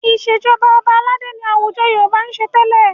Ìṣèjọba ọba aládé ni àwùjọ Yorùbá ń ṣe tẹ́lẹ̀.